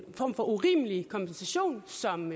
form for urimelig kompensation som